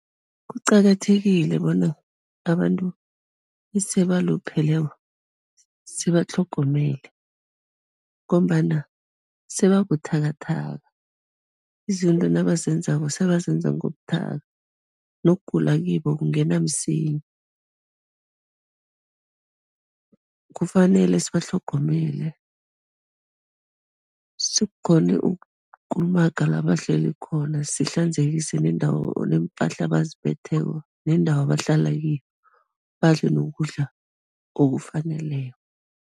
Kuqakathekile bona abantu ese balupheleko sibatlhogomele ngombana sebabuthakathaka, izinto nabazenzako, sebazenza ngobuthatha nokugula kibo kungena msinya. Kufanele sibatlhogomele, sikghone ukukulumaga la bahleli khona, sihlanzekise nendawo neempahla abazimbetheko nendawo abahlala kiyo, badle nokudla okufaneleko.